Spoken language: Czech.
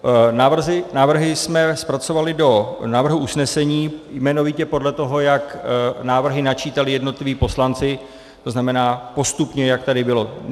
Návrhy jsme zpracovali do návrhu usnesení jmenovitě podle toho, jak návrhy načítali jednotliví poslanci, to znamená postupně, jak tady bylo.